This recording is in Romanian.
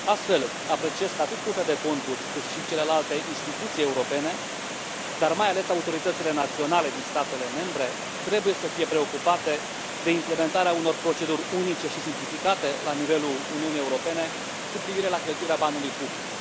Astfel, apreciez că atât Curtea de Conturi, cât și celelalte instituții europene, dar, mai ales, autoritățile naționale din statele membre, trebuie să fie preocupate de implementarea unor proceduri unice și simplificate la nivelul Uniunii Europene cu privire la cheltuirea banului public.